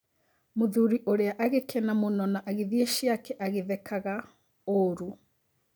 Mũthuri ũrĩa agĩkena mũno na agĩthie ciake agĩthekaga ũru.